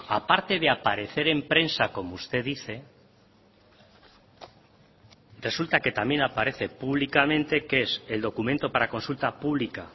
a parte de aparecer en prensa como usted dice resulta que también aparece públicamente que es el documento para consulta pública